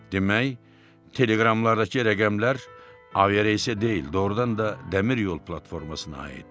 Demək, teleqramlardakı rəqəmlər avia reysə deyil, doğrudan da dəmir yol platformasına aid idi.